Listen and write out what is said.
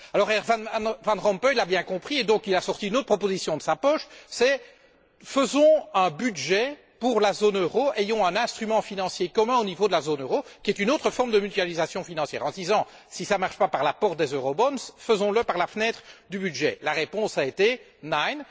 Herr Van Rompuy l'a bien compris et il a donc sorti une autre proposition de sa poche Faisons un budget pour la zone euro, ayons un instrument financier commun au niveau de la zone euro, qui est une autre forme de mutualisation financière, en disant Si ça ne marche pas par la porte des eurobonds faisons le par la fenêtre du budget. La réponse a été Nein